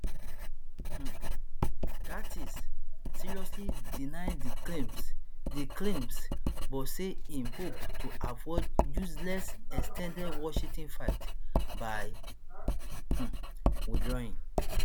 um gaetz seriously deny di claims di claims but say im hope to avoid useless ex ten ded washington fight by um withdrawing